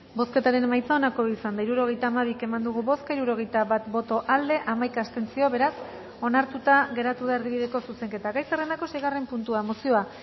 bozketaren emaitza onako izan da hirurogeita hamabi eman dugu bozka hirurogeita bat boto aldekoa hamaika abstentzio beraz onartuta geratu da erdibideko zuzenketa gai zerrendako seigarren puntua mozioa